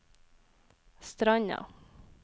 Stranda